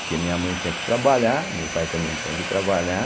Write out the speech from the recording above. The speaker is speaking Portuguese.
Porque minha mãe tinha que trabalhar, meu pai também tinha que trabalhar.